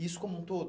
Isso como um todo?